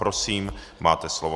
Prosím, máte slovo.